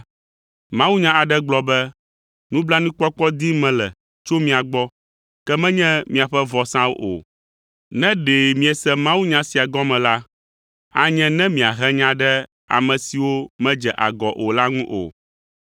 Mawunya aɖe gblɔ be, ‘Nublanuikpɔkpɔ dim mele tso mia gbɔ, ke menye miaƒe vɔsawo o.’ Ne ɖe miese mawunya sia gɔme la, anye ne miahe nya ɖe ame siwo medze agɔ o la ŋu o,